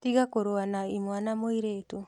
Tiga kũrũa na imwana mũirĩtu.